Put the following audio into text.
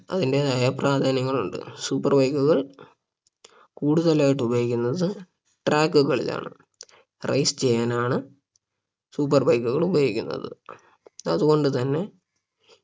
അതിന്റെതായ പ്രാധാന്യങ്ങൾ ഉണ്ട് super bike കൾ കൂടുതലായിട്ടും ഉപയോഗിക്കുന്നത് track കളിലാണ് Race ചെയ്യാനാണ് super bike കൾ ഉപയോഗിക്കുന്നത് അതുകൊണ്ട് തന്നെ